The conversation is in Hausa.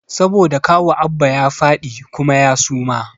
Saboda kawu Abba ya fadi kuma ya suma